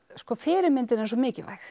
fyrirmyndin er svo mikilvæg